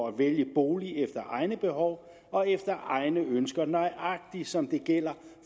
at vælge bolig efter egne behov og efter egne ønsker nøjagtig som det gælder